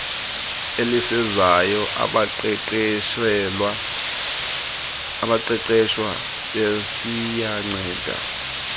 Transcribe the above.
elisezayo abaqeqeshwa besiyanceda